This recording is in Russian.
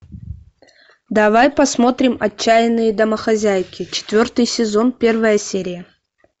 давай посмотрим отчаянные домохозяйки четвертый сезон первая серия